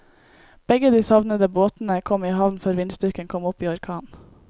Begge de savnede båtene kom i havn før vindstyrken kom opp i orkan.